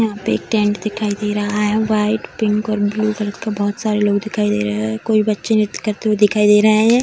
यहाँ पे एक टेंट दिखाई दे रहा है वाइट पिंक और ब्लू कलर का बहोत सारे लोग दिखाई दे रहे है कोई बच्चे नृत्य दिखाई दे रहे हैं।